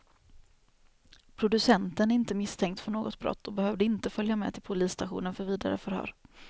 Producenten är inte misstänkt för något brott och behövde inte följa med till polisstationen för vidare förhör.